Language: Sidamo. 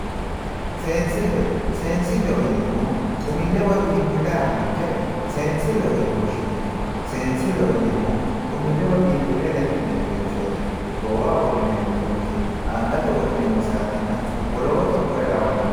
Seensile, seensileho yineemmohu xumile woyi biinfile aanonkere seensileho yinne woshshineemmo, seensileho yineemmori xumile lexineemmorichoti goowaho wodhineemmo culki angate wodhineemmo saatenna wolootuno kuri lawanoreti.